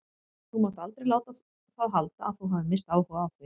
Þú mátt aldrei láta það halda að þú hafir minnsta áhuga á því.